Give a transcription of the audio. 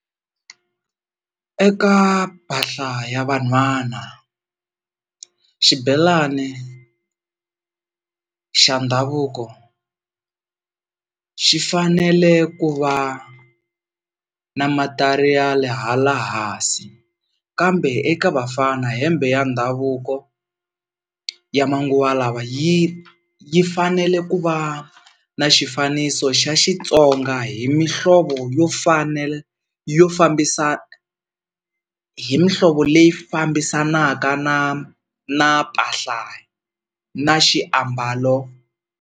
Eka mpahla ya vanhwana xibelani xa ndhavuko xi fanele ku va na matariyali hala hansi, kambe eka vafana hembe ya ndhavuko ya manguva lawa yi yi fanele ku va na xifaniso xa Xitsonga hi mihlovo yo yo fambisa hi mihlovo leyi fambisanaka na na mpahla na xiambalo.